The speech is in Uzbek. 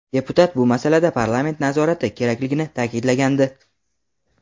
Deputat bu masalada parlament nazorati kerakligini ta’kidlagandi.